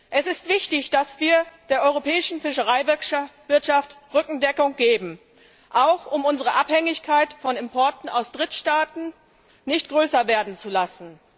Es ist wichtig, dass wir der europäischen Fischereiwirtschaft Rückendeckung geben, auch um unsere Abhängigkeit von Importen aus Drittstaaten nicht größer werden zu lassen.